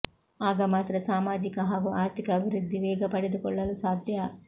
ಆಗ ಮಾತ್ರ ಸಾಮಾಜಿಕ ಹಾಗೂ ಆರ್ಥಿಕ ಅಭಿವೃದ್ಧಿ ವೇಗ ಪಡೆದುಕೊಳ್ಳಲು ಸಾಧ್ಯ